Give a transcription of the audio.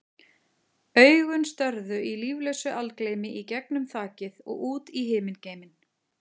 Augun störðu í líflausu algleymi í gegnum þakið og út í himingeiminn.